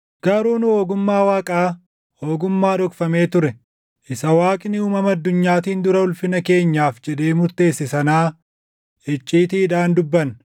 Garuu nu ogummaa Waaqaa, ogummaa dhokfamee ture, isa Waaqni uumama addunyaatiin dura ulfina keenyaaf jedhee murteesse sanaa icciitiidhaan dubbanna.